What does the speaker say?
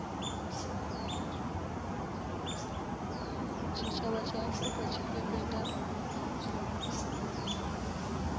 tshitshavha tsha afurika tshipembe nga